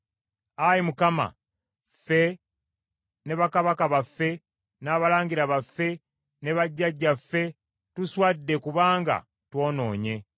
Ayi Mukama , ffe ne bakabaka baffe, n’abalangira baffe, ne bajjajjaffe tuswadde kubanga twonoonye.